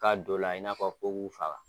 K'a don u la i n'a fɔ ko k'u faga.